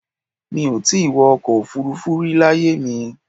Mi ò ì tí ì wọ́ ọkọ̀ Òfurufú rí láyé mi